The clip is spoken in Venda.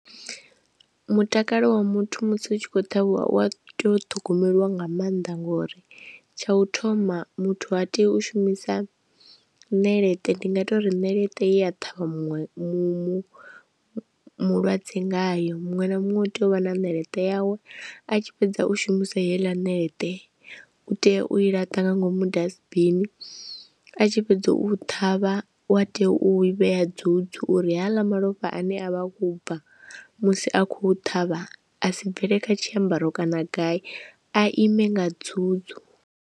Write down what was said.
Mutakalo wa muthu musi hu tshi khou ṱhavhiwa wa tea u ṱhogomeliwa nga maanḓa ngori tsha u thoma muthu ha tei u shumisa ṋeleṱe ndi nga tori ṋeleṱe ya ṱhavha muṅwe mu mu mulwadze ngayo, muṅwe na muṅwe u tea u vha na ṋeleṱe yawe a tshi fhedza u shumisa heiḽa nete u tea u i laṱa nga ngomu dasbini, a tshi fhedza u thoma havha wa tea u vhea dzudzu uri haaḽa malofha a ne a vha wo bva musi a khou ṱhavha a si bvele kha tshiambaro kana gai a ime nga dzudzu.